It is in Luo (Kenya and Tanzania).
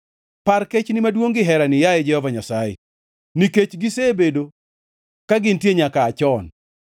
Par kechni maduongʼ gi herani, yaye Jehova Nyasaye, nikech gisebedo ka gintie nyaka aa chon.